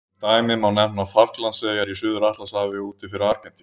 Sem dæmi má nefna Falklandseyjar í Suður-Atlantshafi úti fyrir Argentínu.